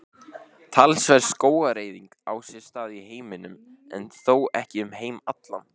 Talsverð skógareyðing á sér stað í heiminum en þó ekki um heim allan.